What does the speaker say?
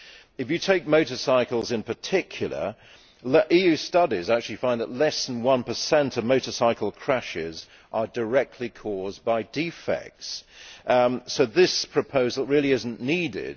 If you take motorcycles in particular, EU studies actually find that less than 1 of motorcycle crashes are directly caused by defects, so this proposal really is not needed.